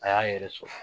A y'a yɛrɛ sɔrɔ